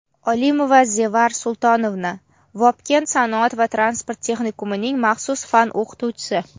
Olimova Zevar Sultonovna — Vobkent sanoat va transport texnikumining maxsus fan o‘qituvchisi;.